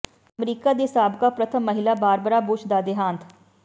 America ਦੀ ਸਾਬਕਾ ਪ੍ਰਥਮ ਮਹਿਲਾ ਬਾਰਬਰਾ ਬੁਸ਼ ਦਾ ਦੇਹਾਂਤ